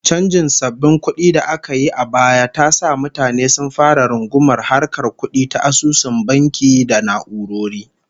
Chanjin sabbin kudi da aka yi a baya ta sa mutane sun fara rungumar harkar kudi ta asusun banki da na'urori